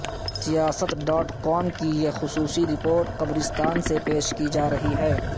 سیاست dot com کی یہ خصوصی رپورٹ قبرستان سے پیش کی جارہی ہے